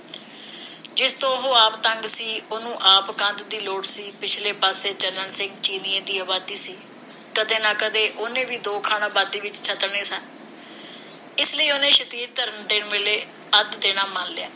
ਜਿਸ ਤੋਂ ਉਹ ਆਪ ਤੰਗ ਸੀ ਤੇ ਉਹਨੂੰ ਆਪ ਕੰਧ ਦੀ ਲੋੜ ਸੀ। ਪਿਛਲੇ ਪਾਸੇ ਚੰਨਣ ਸਿੰਘ ਚੀਨੀਂਏ ਦੀ ਆਬਾਦੀ ਸੀ। ਕਦੇ ਨਾ ਕਦੇ ਉਹਨੇ ਵੀ ਦੋ ਖਣ ਆਬਾਦੀ ਵਿਚ ਛੱਤਣੇ ਸਨ, ਇਸ ਲਈ ਉਹਨੇ ਸ਼ਤੀਰੀ ਧਰਨ ਵੇਲੇ ਅੱਧ ਦੇਣਾ ਮੰਨ ਲਿਆ।